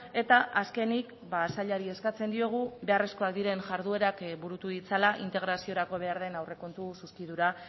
eta azkenik sailari eskatzen diogu beharrezkoak diren jarduerak burutu ditzala integraziorako behar den aurrekontu zuzkidura